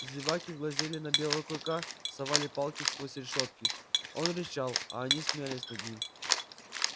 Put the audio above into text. зеваки глазели на белого клыка совали палки сквозь решётки он рычал а они смеялись над ним